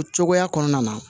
O cogoya kɔnɔna na